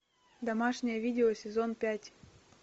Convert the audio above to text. домашнее видео сезон пять